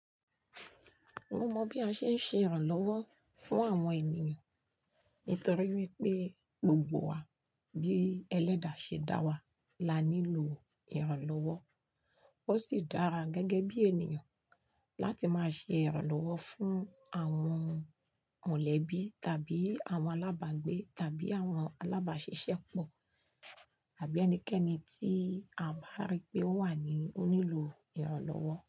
Mo mọ bí a ṣe ń ṣe ìrànlọ́wọ́ fún àwọn ènìyàn nítorí wípé gbogbo wa bí ẹlẹ́dà ṣe dá wa, la nílò ìrànlọ́wọ́. Ó sì dára gẹ́gẹ́ bí ènìyàn láti máa ṣe ìrànlọ́wọ́ fún àwọn mọ̀lẹ́bí tàbí àwọn alábàgbé tàbí àwọn alábàáṣiṣẹ́pọ̀ àbí ẹnikẹ́ni tí a bá rí pé ó wà ní ó nílò ìrànlọ́wọ́